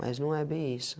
Mas não é bem isso.